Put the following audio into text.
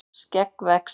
skegg vex